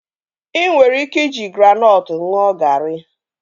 Ị nwere ike iji granọtụ ṅụọ garị